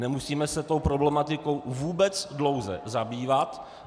Nemusíme se tou problematikou vůbec dlouze zabývat.